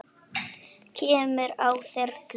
Kemurðu á þyrlu?